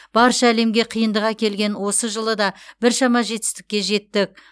барша әлемге қиындық әкелген осы жылы да біршама жетістікке жеттік